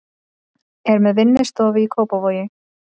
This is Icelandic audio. Er með vinnustofu í Kópavogi.